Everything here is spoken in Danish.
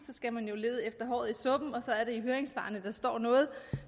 skal man jo lede efter håret i suppen og så er det i høringssvarene der står noget